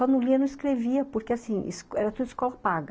Só não lia, não escrevia, porque, assim, era tudo escola paga.